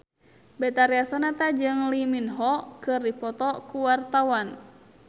Betharia Sonata jeung Lee Min Ho keur dipoto ku wartawan